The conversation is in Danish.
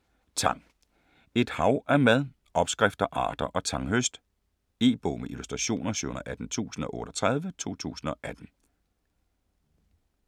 Tang: et hav af mad: opskrifter, arter og tanghøst E-bog med illustrationer 718038 2018.